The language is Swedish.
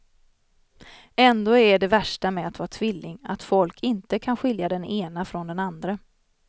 Ändå är det värsta med att vara tvilling att folk inte kan skilja den ene från den andre.